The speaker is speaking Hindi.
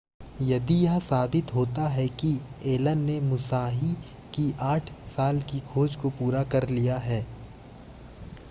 यदि यह साबित होता है कि एलन ने मुसाहि की आठ साल की खोज को पूरा कर लिया है